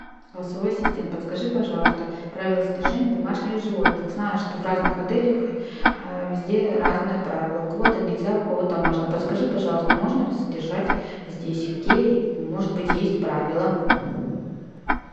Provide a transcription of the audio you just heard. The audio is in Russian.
голосовой ассистент подскажи пожалуйста правила содержания домашних животных знаю что в разных отелях везде разные правила у кого то нельзя у кого то можно подскажи пожалуйста можно ли содержать здесь какие может быть есть правила